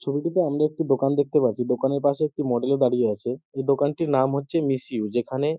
ছবিটিতে আমরা একটি দোকান দেখতে পাচ্ছি। দোকানের পাশে একটি মডেল -ও দাঁড়িয়ে আছে। এই দোকানটির নাম হচ্ছে মিস উ যেখানে --